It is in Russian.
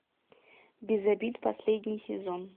без обид последний сезон